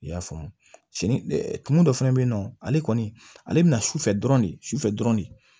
I y'a faamu sini ɛ tumu dɔ fana be yen nɔ ale kɔni ale bɛna sufɛ dɔrɔn de su fɛ dɔrɔn de